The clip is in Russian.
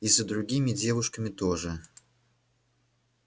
и за другими девушками тоже